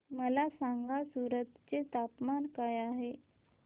मला सांगा सूरत चे तापमान काय आहे